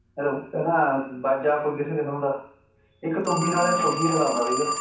ਨਾ ਕੋਈ ਨਾ ਬਾਜਾ ਕੋਈ ਕਿਸੇ ਕਿਸਮ ਦਾ ਇੱਕ ਤੁੰਬੀ ਨਾਲ ਸੋ ਗੀਤ ਗਾ ਦਿੰਦਾ ਸੀਗਾ